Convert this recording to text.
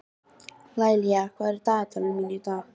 Laíla, hvað er á dagatalinu mínu í dag?